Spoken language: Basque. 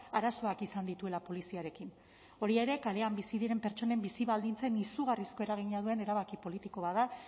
arazoak izan dituela poliziarekin hori ere kalean bizi diren pertsonen bizi baldintzen izugarrizko eragina duen erabaki politiko bat da